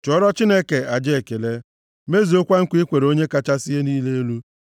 “Chụọrọ Chineke aja ekele, mezuo nkwa i kwere Onye kachasị ihe niile elu,